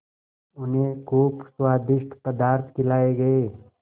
उन्हें खूब स्वादिष्ट पदार्थ खिलाये गये